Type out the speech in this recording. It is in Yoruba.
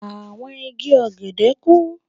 Àwọn igi ọ̀gẹ̀dẹ̀ kúrú.